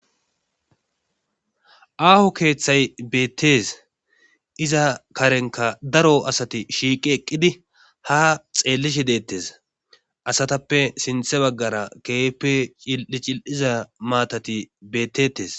Aaho keeththay beettes iza karenka daro asati shiiqi eqqidi ha xeellishi deettes asatappe sinthe baggara keeppe cil7i cil7iza maatati bettetes